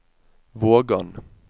Vågan